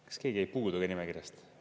Kas keegi jäi puudu ka nimekirjast?